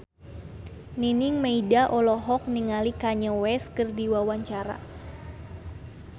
Nining Meida olohok ningali Kanye West keur diwawancara